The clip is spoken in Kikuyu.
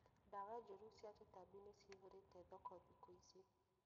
Dawa njũru cia tũtambi nĩciihũrĩte thoko thikũ ici